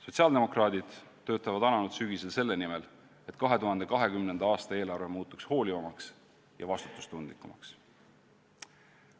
Sotsiaaldemokraadid töötavad alanud sügisel selle nimel, et 2020. aasta eelarve muutuks hoolivamaks ja vastutustundlikumaks.